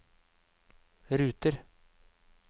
ruter